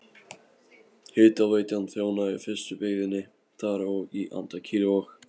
Hitaveitan þjónaði í fyrstu byggðinni þar og í Andakíl og